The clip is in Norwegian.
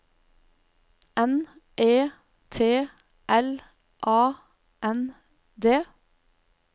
N E T L A N D